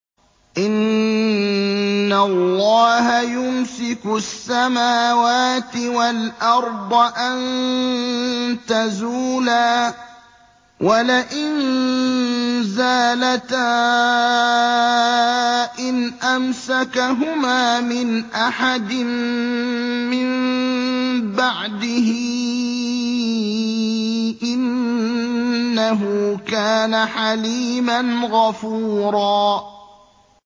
۞ إِنَّ اللَّهَ يُمْسِكُ السَّمَاوَاتِ وَالْأَرْضَ أَن تَزُولَا ۚ وَلَئِن زَالَتَا إِنْ أَمْسَكَهُمَا مِنْ أَحَدٍ مِّن بَعْدِهِ ۚ إِنَّهُ كَانَ حَلِيمًا غَفُورًا